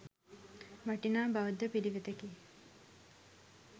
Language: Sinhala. වටිනා බෞද්ධ පිළිවෙතකි.